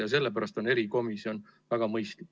Ja sellepärast on erikomisjon väga mõistlik.